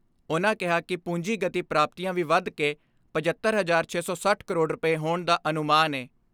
ਉਨ੍ਹਾਂ ਕਿਹਾ ਕਿ ਪੂੰਜੀਗਤੀ ਪ੍ਰਾਪਤੀਆਂ ਵੀ ਵਧ ਕੇ ਪਚੱਤਰ ਹਜਾਰ ਛੇ ਸੌ ਸੱਠ ਕਰੋੜ ਰੁਪਏ ਹੋਣ ਦਾ ਅਨੁਮਾਨ ਏ।